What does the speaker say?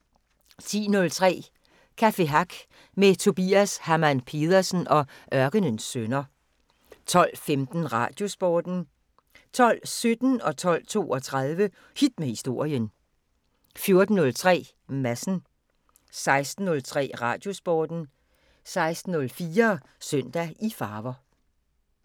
10:03: Café Hack med Tobias Hamann-Pedersen og Ørkenens Sønner 12:15: Radiosporten 12:17: Hit med Historien 12:32: Hit med Historien 14:03: Madsen 16:03: Radiosporten 16:04: Søndag i farver